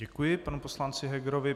Děkuji panu poslanci Hegerovi.